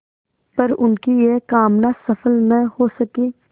पर उनकी यह कामना सफल न हो सकी